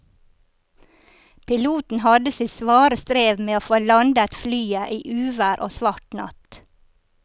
Piloten hadde sitt svare strev med å få landet flyet i uvær og svart natt.